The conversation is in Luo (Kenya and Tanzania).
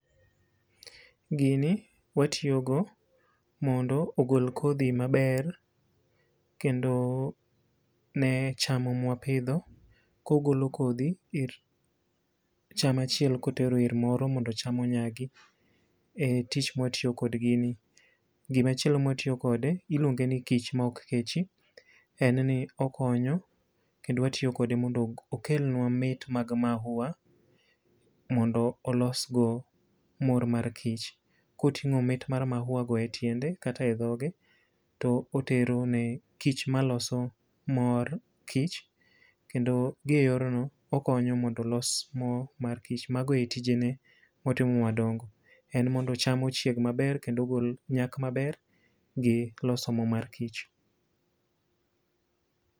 Gini watiyo go mondo ogol kodhi maber kendo ne cham mwapidho, kogolo kodhi ir cham achiel kotero ir moro mondo cham onyagi. E tich mwatiyo kod gimni. Gimachielo mwatiyo kode, iluonge ni kich ma ok kechi, en ni okonyo kendo watiyo kode mondo okelnwa mag mahua, mondo olsgo mor mar kich. Koting'o mit mar mahua go e tiende, kata e dhoge, to otero ne kich ma loso mor kich kendo gi e yorno okonyo mondo los mo mar kich. Mago e tije ne, motimo madongo. En modno cham ochieg maber kendo ogol nyak maber gi loso mo mar kich.